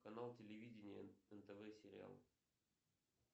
канал телевидения нтв сериал